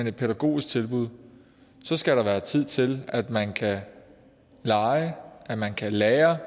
et pædagogisk tilbud så skal der være tid til at man kan lege at man kan lære